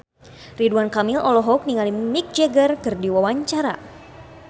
Ridwan Kamil olohok ningali Mick Jagger keur diwawancara